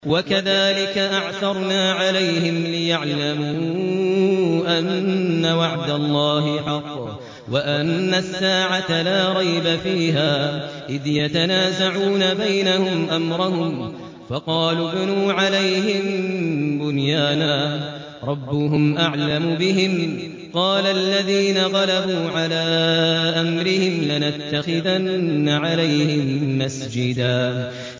وَكَذَٰلِكَ أَعْثَرْنَا عَلَيْهِمْ لِيَعْلَمُوا أَنَّ وَعْدَ اللَّهِ حَقٌّ وَأَنَّ السَّاعَةَ لَا رَيْبَ فِيهَا إِذْ يَتَنَازَعُونَ بَيْنَهُمْ أَمْرَهُمْ ۖ فَقَالُوا ابْنُوا عَلَيْهِم بُنْيَانًا ۖ رَّبُّهُمْ أَعْلَمُ بِهِمْ ۚ قَالَ الَّذِينَ غَلَبُوا عَلَىٰ أَمْرِهِمْ لَنَتَّخِذَنَّ عَلَيْهِم مَّسْجِدًا